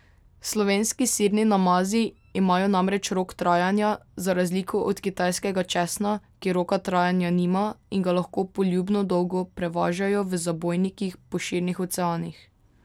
Slovenski sirni namazi imajo namreč rok trajanja, za razliko od kitajskega česna, ki roka trajanja nima in ga lahko poljubno dolgo prevažajo v zabojnikih po širnih oceanih.